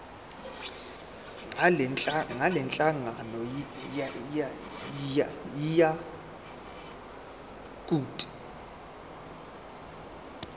ngalenhlangano yiya kut